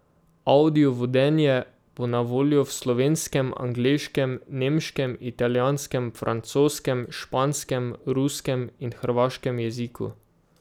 Avdiovodenje bo na voljo v slovenskem, angleškem, nemškem, italijanskem, francoskem, španskem, ruskem in hrvaškem jeziku.